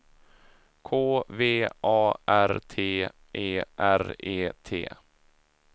K V A R T E R E T